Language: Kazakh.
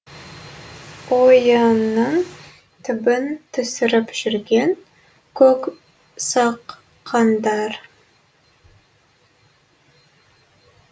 ойынның түбін түсіріп жүрген көк саққандар